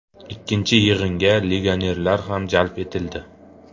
Ikkinchi yig‘inga legionerlar ham jalb etildi.